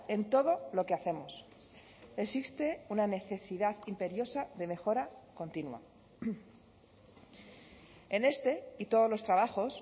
en todo lo que hacemos existe una necesidad imperiosa de mejora continua en este y todos los trabajos